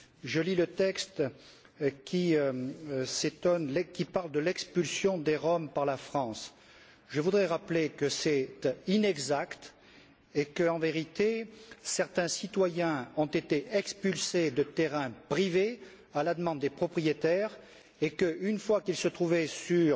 Je lis le texte qui parle de l'expulsion des Roms par la France et je voudrais rappeler qu'il est inexact et qu'en vérité, certains citoyens ont été expulsés de terrains privés à la demande des propriétaires et que, une fois qu'ils se trouvaient sur